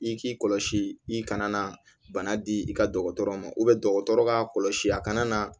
I k'i kɔlɔsi i kana na bana di i ka dɔgɔtɔrɔ ma dɔgɔtɔrɔ ka kɔlɔsi a kana na